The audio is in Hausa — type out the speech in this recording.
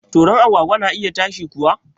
Toron agwagwa na iya ta shi kuwa